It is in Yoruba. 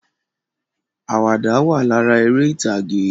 Àwàdà wà lára eré ìtàgè